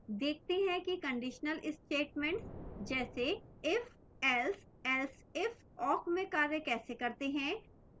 देखते हैं कि conditional statements जैसे if else elseif awk में कार्य कैसे करते हैं